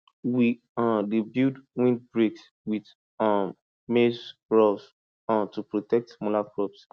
we um dey build windbreaks with um maize rows um to protect smaller crops